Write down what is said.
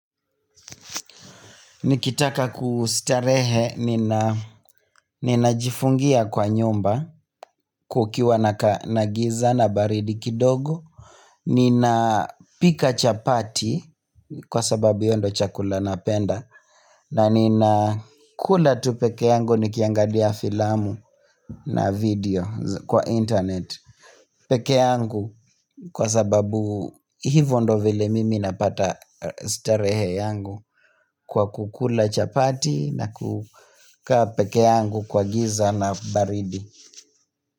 Nikitaka kustarehe ninajifungia kwa nyumba kukiwa na giza na baridi kidogo Ninapika chapati kwa sababu iyo ndo chakula napenda na nina kula tu pekee yangu nikiangalia filamu na video kwa internet peke yangu kwa sababu hivo ndo vile mimi napata starehe yangu kwa kukula chapati na kukaa pekee yangu kwa giza na baridi.